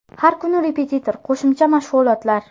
Har kuni repetitor, qo‘shimcha mashg‘ulotlar.